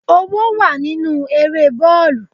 Owó wà nínú eré bọ́ọ̀lù.